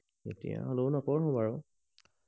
এতিয়া হলেও নপঢ়ো বাৰু